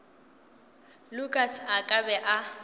lukas a ka be a